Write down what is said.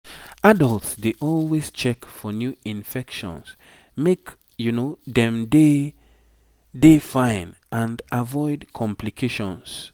adults dey always check for new infections make dem dey dey fine and avoid complications